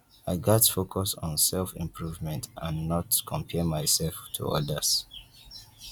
i gats focus on selfimprovement and not compare myself to others